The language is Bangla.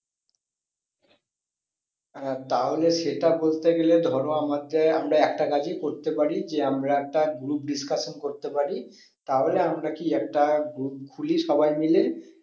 আহ তাহলে সেটা করতে গেলে ধরো আমাকে, আমরা একটা কাজই করতে পারি যে আমরা একটা group discussion করতে পারি তাহলে আমরা কি একটা group খুলি সবাই মিলে